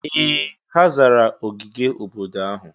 Ee! Ha zara ogige obodo ahụ.